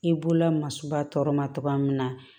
I bɔla masuba tɔɔrɔ ma cogoya min na